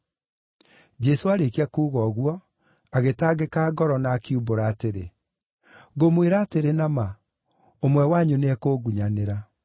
Jesũ aarĩkia kuuga ũguo, agĩtangĩka ngoro na akiumbũra atĩrĩ, “Ngũmwĩra atĩrĩ na ma, ũmwe wanyu nĩekũngunyanĩra.”